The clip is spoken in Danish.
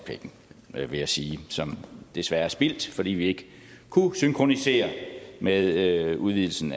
penge vil jeg sige som desværre er spildt fordi vi ikke kunne synkronisere med udvidelsen